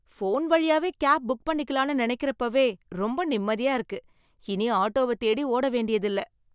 Phone வழியாவே cab book பண்ணிக்கலாம்னு நினைக்கறப்பவே ரொம்ப நிம்மதியா இருக்கு. இனி ஆட்டோவ தேடி ஓட வேண்டியதில்ல.